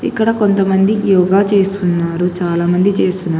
ఇక్కడ కొంతమంది యోగా చేస్తున్నారు చాలామంది చేస్తున్నారు.